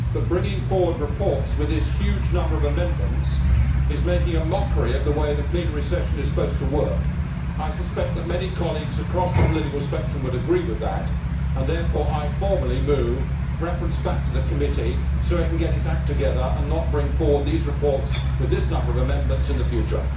But bringing forward reports with this huge number of amendments is making a mockery of the way the plenary session is supposed to work. I suspect that many colleagues across the political spectrum would agree with this, and therefore I formally move referral back to the Committee so it can get its act together and not bring forward these reports with this number of amendments in the future.